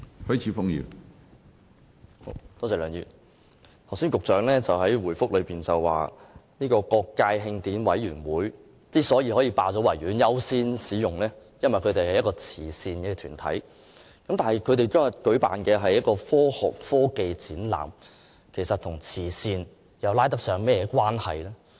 梁議員，局長剛才在主體答覆中表示，慶委會可以霸佔和優先使用維園，因為它是一個慈善團體，但它當天舉辦的是科學科技展覽，與慈善可以扯上甚麼關係呢？